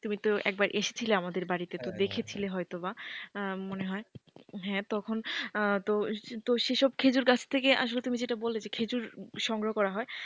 তুমি তো একবার এসেছিলে আমাদের বাড়িতে তো দেখেছিলে হয়তো বা মনে হয় হ্যাঁ তখন তো সেসব খেজুর গাছ থেকে আসলে তুমি যেটা বললে যে খেজুর সংগ্রহ করা হয়।